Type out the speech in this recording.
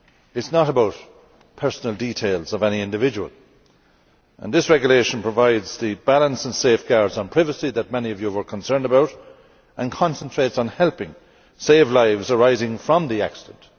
It is not about personal details of any individual and this regulation provides the balance and safeguards on privacy that many of you were concerned about and concentrates on helping save lives following on from the accident.